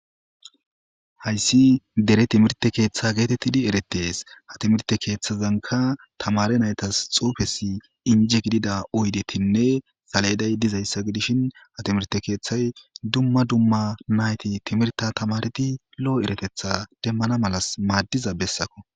Hayssi dere timirte keeththa geetettidi eretees ha timirte keeththazanka tamare naytas xuufesi inje gidida oydetinne saleyeday dizayssa gidishin ha timirte keeththay dumma dumma nayti timirta tamareti lo'o eretetha demmana malas maaddiza bessako.